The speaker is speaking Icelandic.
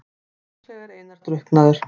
Líklega er Einar drukknaður.